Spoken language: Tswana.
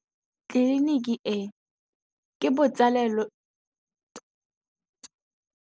Tleliniki e, ke botsalêlô jwa ngwana wa tsala ya me Tshegofatso.